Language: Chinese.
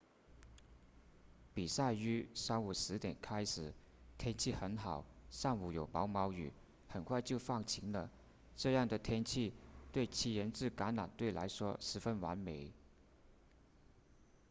比赛于上午10点开始天气很好上午有毛毛雨很快就放晴了这样的天气对七人制橄榄球来说十分完美